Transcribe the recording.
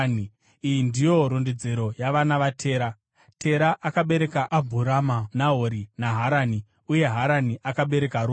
Iyi ndiyo rondedzero yavana vaTera. Tera akabereka Abhurama, Nahori naHarani. Uye Harani akabereka Roti.